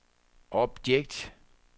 objekt